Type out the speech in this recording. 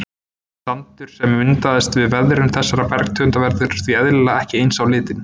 Sandur sem myndast við veðrun þessara bergtegunda verður því eðlilega ekki eins á litinn.